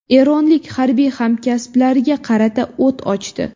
Eronlik harbiy hamkasblariga qarata o‘t ochdi.